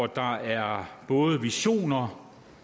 der er både visioner